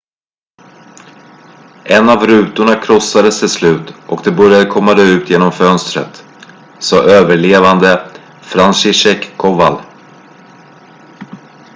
en av rutorna krossades till slut och de började komma ut genom fönstret sa överlevande franciszek kowal